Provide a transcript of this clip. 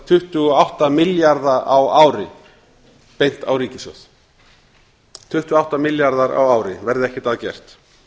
tuttugu og átta milljörðum á ári beint á ríkissjóð það eru tuttugu og átta milljarðar á ári verði ekkert að gert